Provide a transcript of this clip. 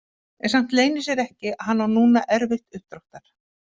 En samt leynir sér ekki að hann á núna erfitt uppdráttar.